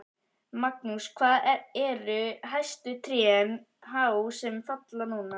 Magnús: Hvað eru hæstu trén há sem falla núna?